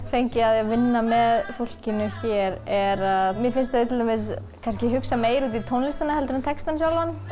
fengið af því að vinna með fólkinu hér er að mér finnst þau hugsa meira út í tónlistina en textann þau